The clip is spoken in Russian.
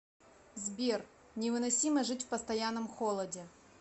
сбер невыносимо жить в постоянном холоде